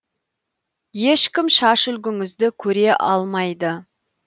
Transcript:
ешкім шаш үлгіңізді көре алмайды